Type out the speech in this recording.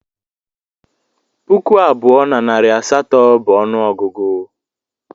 Puku abụọ na narị asatọ bụ ọnụọgụgụ